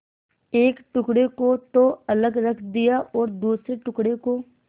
एक टुकड़े को तो अलग रख दिया और दूसरे टुकड़े को